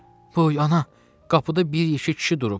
Ay ana, qapıda bir yekə kişi durub.